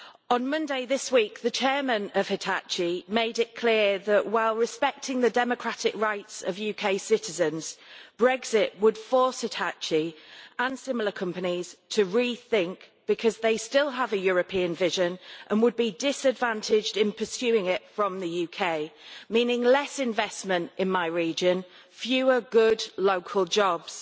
On Monday this week, the chairman of Hitachi made it clear that, while respecting the democratic rights of UK citizens, Brexit would force Hitachi and similar companies to re think, because they still have a European vision and would be disadvantaged in pursuing it from the UK, meaning less investment in my region and fewer good local jobs.